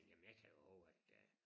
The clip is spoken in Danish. Jamen jeg kan jo hove at øh